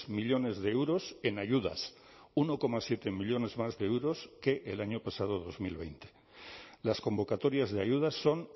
millónes de euros en ayudas uno coma siete millónes más de euros que el año pasado dos mil veinte las convocatorias de ayudas son